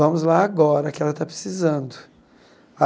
Vamos lá agora, que ela está precisando.